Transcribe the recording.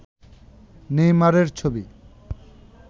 নেইমারের ছবি